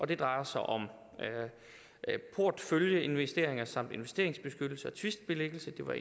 det drejer sig om porteføljeinvesteringer samt investeringsbeskyttelse og tvistbilæggelse det var